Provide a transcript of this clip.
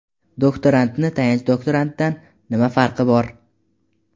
Doktorantni tayanch doktorantdan nima farqi bor?.